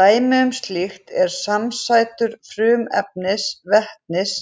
Dæmi um slíkt eru samsætur frumefnisins vetnis